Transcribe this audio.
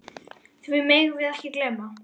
Því megum við ekki gleyma.